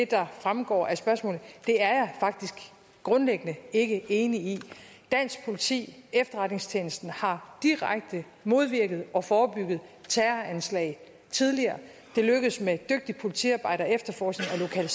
der fremgår af spørgsmålet er jeg grundlæggende ikke enig i dansk politi efterretningstjenesten har direkte modvirket og forebygget terroranslag tidligere det lykkedes med et dygtigt politiarbejde og efterforskning at